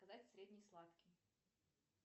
заказать средний сладкий